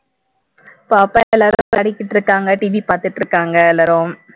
பாப்பா எல்லாரும் படிச்சிட்டு இருக்காங்க டிவி பாத்துட்டு இருக்காங்க எல்லாரும்